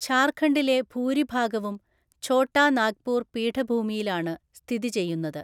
ഝാർഖണ്ഡിലെ ഭൂരിഭാഗവും ഛോട്ടാ നാഗ്പൂർ പീഠഭൂമിയിലാണ് സ്ഥിതിചെയ്യുന്നത്.